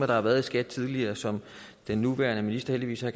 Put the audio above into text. der har været i skat tidligere som den nuværende minister heldigvis er